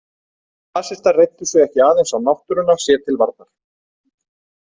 En nasistar reiddu sig ekki aðeins á náttúruna sér til varnar.